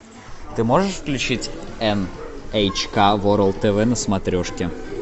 ты можешь включить эн эйч ка ворлд тв на смотрешке